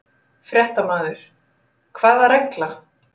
Fréttamaður: Hvaða regla?